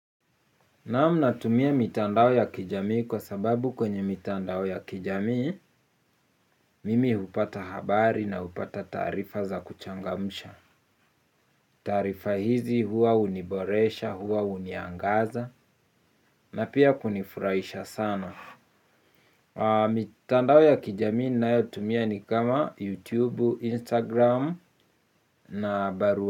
Naam natumia mitandao ya kijamii kwa sababu kwenye mitandao ya kijamii mimi hupata habari na hupata taarifa za kuchangamsha. Tarifa hizi hua huniboresha hua huniangaza na pia kunifuraisha sana. Mitandao ya kijamii ninayo tumia ni kama YouTube Instagram na barua.